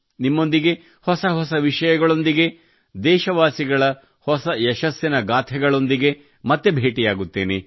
ನಿಮ್ಮೊಂದಿಗೆ ಹೊಸ ಹೊಸ ವಿಷಯಗಳೊಂದಿಗೆ ದೇಶವಾಸಿಗಳ ಹೊಸ ಯಶಸ್ಸಿನ ಗಾಥೆಗಳೊಂದಿಗೆ ಮತ್ತೆ ಭೇಟಿಯಾಗುತ್ತೇನೆ